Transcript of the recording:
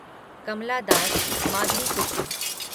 Kamala Das Madhavikutty